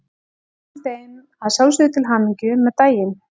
Við óskum þeim að sjálfsögðu til hamingju með daginn!